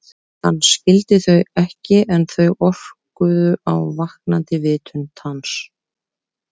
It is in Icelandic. Hann skildi þau ekki en þau orkuðu á vaknandi vitund hans.